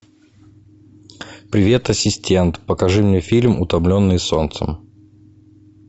привет ассистент покажи мне фильм утомленные солнцем